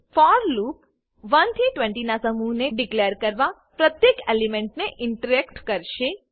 four loop 1 થી 20 ના સમૂહને ડીકલેર કરવા પ્રત્યેક એલિમેન્ટને ઇટરેટ કરેશે